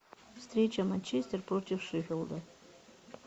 встреча манчестер против шеффилда